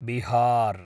Bihar